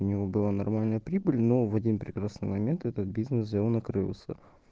у его была нормальная прибыль но в один прекрасный момент этот бизнес взял накрылся